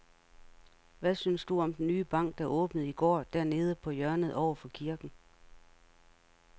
Hvad synes du om den nye bank, der åbnede i går dernede på hjørnet over for kirken?